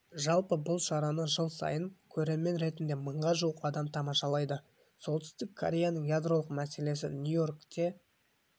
жалпы бұл шараны жыл сайын көрермен ретінде мыңға жуық адам тамашалайды солтүстік кореяның ядролық мәселесі нью-йоркте